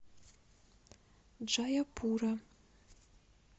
джаяпура